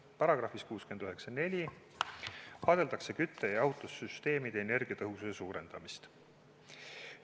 Paragrahvis 694 vaadeldakse kütte- ja jahutussüsteemide energiatõhususe suurendamist.